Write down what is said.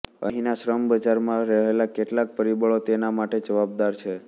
અહીંના શ્રમબજારમાં રહેલાં કેટલાંક પરિબળો તેના માટે જવાબદાર છે